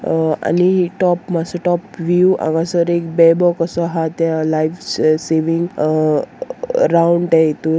अ आनी अ टॉप मात्सो टॉप वीव हांगासर एक बेबो कसो आहा त्या लायफ स सेवींग अ अ अ राउंड त्या इतुन --